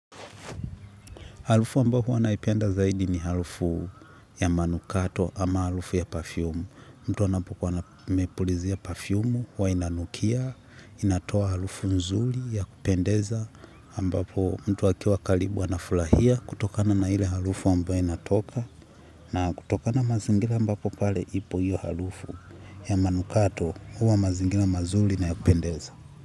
Harufu ambayo huwa naipenda zaidi ni harufu ya manukato ama harufu ya perfume. Mtu anapokuwa amepulizia perfume, huwa inanukia, inatoa harufu nzuri ya kupendeza. Ambapo mtu akiwa karibu anafurahia kutokana na ile harufu ambayo inatoka. Na kutokana mazingira ambapo pale ipo hio harufu ya manukato huwa mazingira mazuri na ya kupendeza.